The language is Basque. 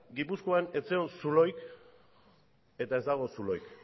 gipuzkoan ez zegoen zulorik eta ez dago zulorik